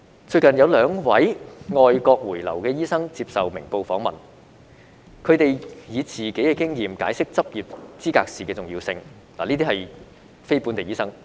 最近，有兩位外國回流的醫生接受《明報》訪問，他們以自己的經驗解釋執業資格試的重要性，他們均是非本地醫生。